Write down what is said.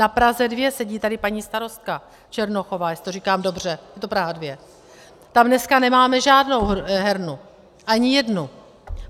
Na Praze 2 - sedí tady paní starostka Černochová, jestli to říkám dobře, je to Praha 2? - tam dneska nemáme žádnou hernu, ani jednu.